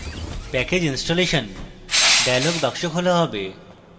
package installation dialog box খোলা হবে